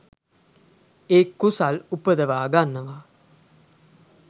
ඒ කුසල් උපදවා ගන්නවා